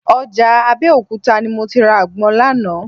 Ọjà Abẹ́òkúta ni mo ti ra àgbọn lánàá